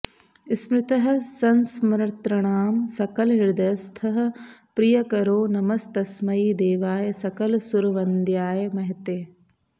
स्मृतः संस्मर्तॄणां सकलहृदयस्थः प्रियकरो नमस्तस्मै देवाय सकलसुरवन्द्याय महते